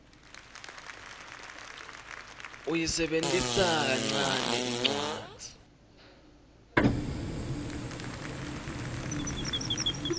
uyisebentisa kancane incwadzi